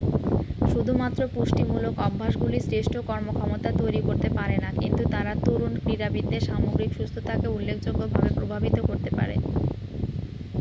শুধুমাত্র পুষ্টিমূলক অভ্যাসগুলি শ্রেষ্ঠ কর্মক্ষমতা তৈরি করতে পারে না কিন্তু তারা তরুণ ক্রীড়াবিদদের সামগ্রিক সুস্থতাকে উল্লেখযোগ্যভাবে প্রভাবিত করতে পারে